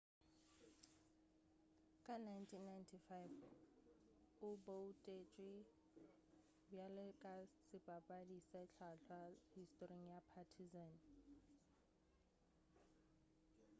ka 1995 o boutetšwe bjalo ka sebapadi se hlwahlwa historing ya partizan